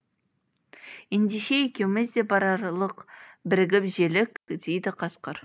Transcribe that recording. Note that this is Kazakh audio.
ендеше екеуіміз де барарлық бірігіп желік дейді қасқыр